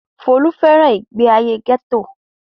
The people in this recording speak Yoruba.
Folú fẹ́ràn ìgbéayé gẹ́tò.